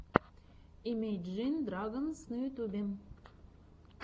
имейджин драгонс на ютубе